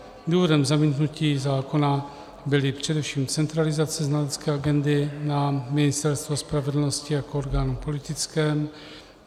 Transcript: Důvodem zamítnutí zákona byla především centralizace znalecké agendy na Ministerstvo spravedlnosti jako orgán politický.